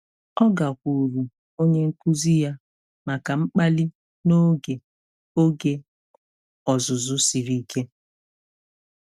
Ọ gakwuuru onye nkuzi ya maka mkpali n'oge oge ọzụzụ siri ike.